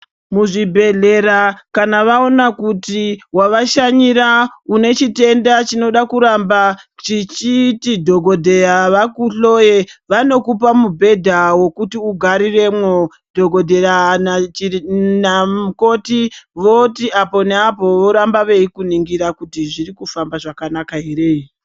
Muzvibhehlera kana vaona kuti wavashanyira une chitenda chinoda kuramba chichiti dhokodheya vakuhloye vanokupa wekuti ugariremwo dhokodheya namukoti voti apo neapo voramba veikuningira kuti zvirikufamba zvakanaka here.